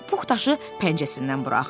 Pux daşı pəncəsindən buraxdı.